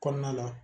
Kɔnɔna la